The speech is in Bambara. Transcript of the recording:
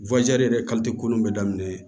yɛrɛ ko nun bɛ daminɛ